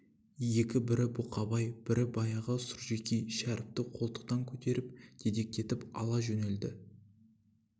екі бірі бұқабай бірі баяғы сұржекей шәріпті қолтыктан көтеріп дедектетіп ала жөнелді